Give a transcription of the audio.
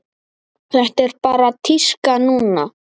Þetta er bara tíska núna.